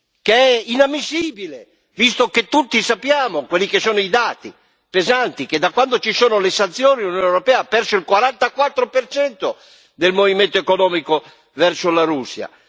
Questo è inammissibile, visto che tutti sappiamo quelli che sono i dati, pesanti, che da quando ci sono le sanzioni l'Unione europea ha perso il 44 del movimento economico verso la Russia.